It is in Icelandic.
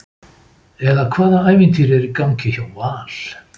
eða hvaða ævintýri er í gangi hjá Val?